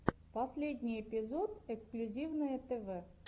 последний эпизод эксклюзивное тв